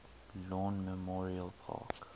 lawn memorial park